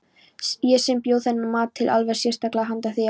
Ég sem bjó þennan mat til alveg sérstaklega handa þér.